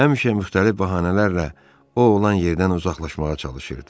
Həmişə müxtəlif bəhanələrlə Ovud olan yerdən uzaqlaşmağa çalışırdı.